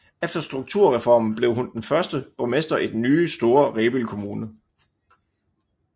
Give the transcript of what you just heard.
Efter strukturreformen blev hun den første borgmester i den nye store Rebild Kommune